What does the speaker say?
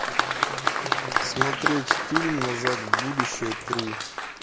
смотреть фильм назад в будущее три